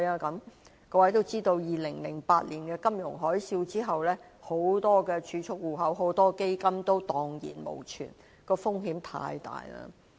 各位也知道 ，2008 年的金融海嘯後，有很多儲蓄戶口和基金都蕩然無存，風險太大了。